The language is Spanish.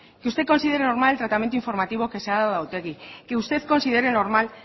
que usted considere normal el tratamiento informativo que se ha dado a otegi que usted considere normal